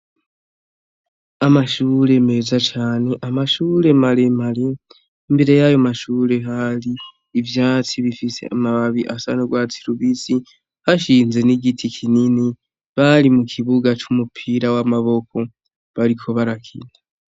Amashure meza cane amashure mare mare imbere yayo mashure hari ivyatsi bifise amababi asa n' urwatsi lubisi hashinze n'igiti kinini bari mu kibuga c'umupira w'amaboko bariko barakinda.